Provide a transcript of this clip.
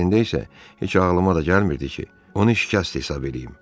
Əslində isə heç ağlıma da gəlmirdi ki, onu şikəst hesab eləyim.